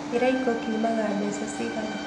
Kĩraiko kiumaga mbeca cigana?